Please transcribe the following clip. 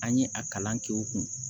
An ye a kalan kɛ o kun